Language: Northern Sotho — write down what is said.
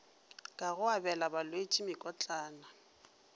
ka go abela balwetši mekotlana